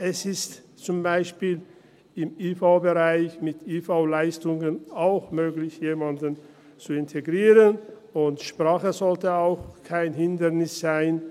Es ist zum Beispiel im IV-Bereich mit IV-Leistungen auch möglich, jemanden zu integrieren, und Sprache sollte auch kein Hindernis sein.